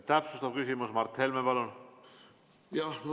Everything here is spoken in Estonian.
Täpsustav küsimus, Mart Helme, palun!